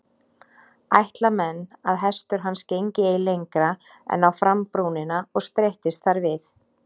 Ætla menn að hestur hans gengi ei lengra en á frambrúnina og streittist þar við.